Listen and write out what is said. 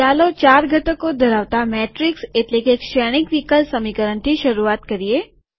ચાલો ચાર ઘટકો ધરાવતા મેટ્રીક્સ એટલેકે શ્રેણિક વિકલ સમીકરણથી શરૂઆત કરીએ